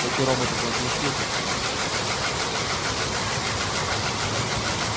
эти роботы должны слушаться нас